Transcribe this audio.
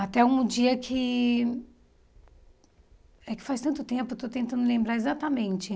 Até um dia que... É que faz tanto tempo, eu estou tentando lembrar exatamente.